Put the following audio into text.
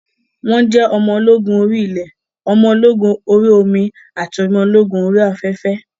Wọ́n jẹ́ ọmọ ológun orí ilẹ̀, ọmọ ológun orí omi ati ọmọ ológun orí afẹ́fẹ́.